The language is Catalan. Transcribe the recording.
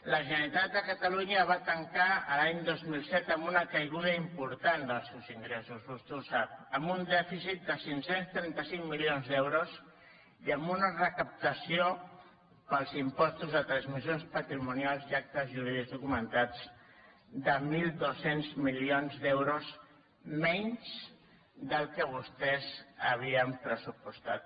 la generalitat de catalunya va tancar l’any dos mil set amb una caiguda important dels seus ingressos vostè ho sap amb un dèficit de cinc cents i trenta cinc milions d’euros i amb una recaptació pels impostos de transmissions patrimonials i actes jurídics documentats de mil dos cents milions d’euros menys del que vostès havien pressupostat